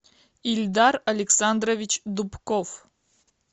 ильдар александрович дубков